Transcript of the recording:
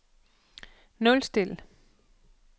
nulstil